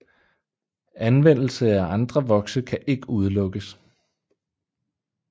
Anvendelse af andre vokse kan ikke udelukkes